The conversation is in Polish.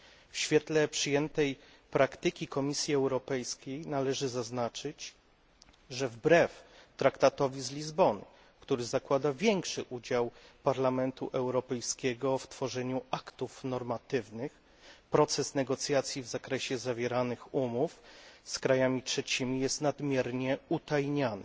W świetle przyjętej praktyki Komisji Europejskiej należy zaznaczyć, że wbrew Traktatowi z Lizbony, który zakłada większy udział Parlamentu Europejskiego w tworzeniu aktów normatywnych, proces negocjacji w zakresie zawieranych umów z krajami trzecimi jest nadmiernie utajniany.